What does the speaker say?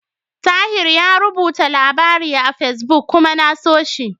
Tahir yayi rubuta labari a Fesbuk kuma na so shi.